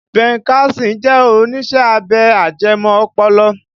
Ben Carson jẹ́ oníṣẹ́ abẹ ajẹmọ́ ọpọlọ